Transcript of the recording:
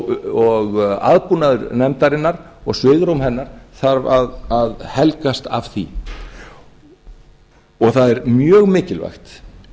og aðbúnaður nefndarinnar og svigrúm hennar þarf að helgast af því það er mjög mikilvægt